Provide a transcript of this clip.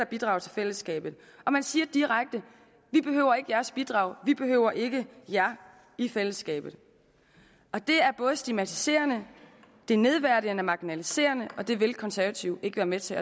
bidrage til fællesskabet og man siger direkte vi behøver ikke jeres bidrag vi behøver ikke jer i fællesskabet det er både stigmatiserende nedværdigende og marginaliserede og det vil konservative ikke være med til